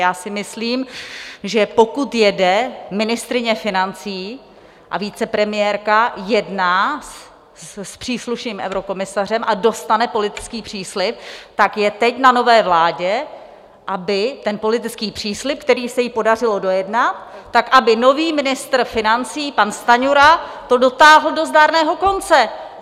Já si myslím, že pokud jede ministryně financí a vicepremiérka, jedná s příslušným eurokomisařem a dostane politický příslib, tak je teď na nové vládě, aby ten politický příslib, který se jí podařilo dojednat, tak aby nový ministr financí pan Stanjura to dotáhl do zdárného konce.